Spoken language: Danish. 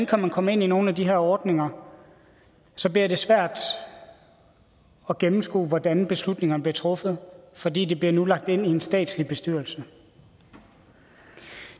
kan komme ind i nogle af de her ordninger så bliver det svært at gennemskue hvordan beslutningerne bliver truffet fordi det nu bliver lagt ind i en statslig bestyrelse